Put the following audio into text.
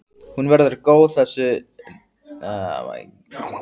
Hún verður góð þessi nótt Vilhjálmur minn.